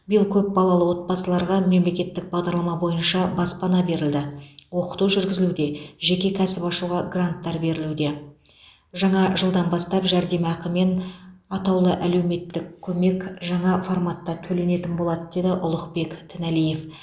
биыл көп балалы отбасыларға мемлекеттік бағдарлама бойынша баспана берілді оқыту жүргізілуде жеке кәсіп ашуға гранттар берілуде жаңа жылдан бастап жәрдемақы мен атаулы әлеуметтік көмек жаңа форматта төленетін болады деді ұлықбек тіналиев